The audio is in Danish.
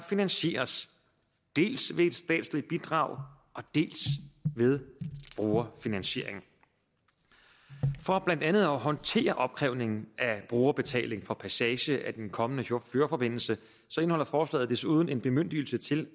finansieres dels ved et statsligt bidrag dels ved brugerfinansiering for blandt andet at håndtere opkrævningen af brugerbetaling for passage af den kommende fjordforbindelse indeholder forslaget desuden en bemyndigelse til